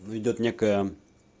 ну идёт некая